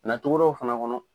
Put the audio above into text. Ka na togodaw fana kɔnɔ